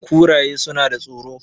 kuraye suna da tsoro